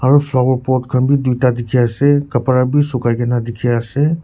aru flower pot khan bhi dui ta dikhi ase kapra bhi sukhai ki na dikhi ase.